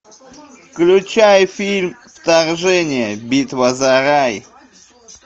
включай фильм вторжение битва за рай